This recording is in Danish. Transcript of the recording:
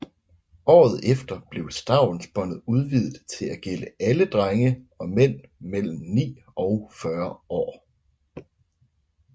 Året efter blev stavnsbåndet udvidet til at gælde alle drenge og mænd mellem ni og 40 år